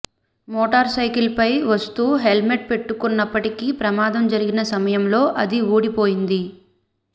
motor cycle పై వస్తూ helmet పెట్టుకున్నప్పటికీ ప్రమాదం జరిగిన సమయంలో అది ఊడి పోయింది